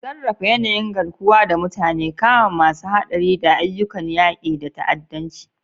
Sarrafa yanayin garkuwa da mutane, kama masu haɗari, da ayyukan yaƙi da ta'addanci.